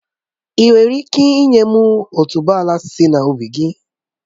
Ị́ nwere ike ị́nye m otuboala sị na ubi gị?